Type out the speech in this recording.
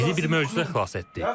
Bizi bir möcüzə xilas etdi.